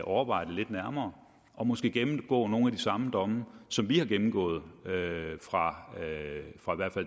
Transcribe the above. overveje det lidt nærmere og måske gennemgå nogle af de samme domme som vi har gennemgået fra